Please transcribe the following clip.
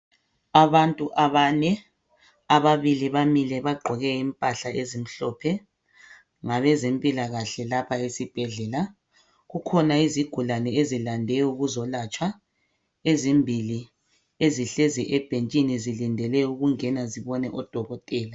Abantu abane. Ababili bamile bagqoke impahla ezimhlophe, ngabezempilakahle laba esibhedlela. Kukhona izigulabe ezilande ukuzolatshwa ezimbili ezihlezi ebhentshini ezilindele ukungena zibone odokotela.